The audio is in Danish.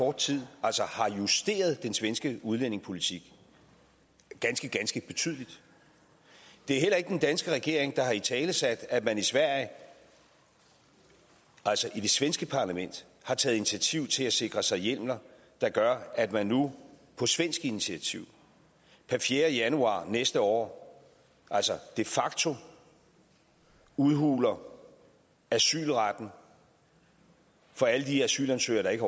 kort tid har justeret den svenske udlændingepolitik ganske ganske betydeligt det er heller ikke den danske regering der har italesat at man i sverige altså i det svenske parlament har taget initiativ til at sikre sig hjemler der gør at man nu på svensk initiativ per fjerde januar næste år de facto udhuler asylretten for alle de asylansøgere der ikke